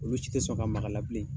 Olu si tɛ sɔn ka ma la bilen